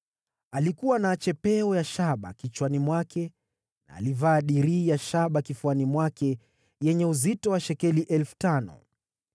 Alikuwa na chapeo ya shaba kichwani mwake, na alivaa dirii ya shaba kifuani mwake yenye uzito wa shekeli elfu tano.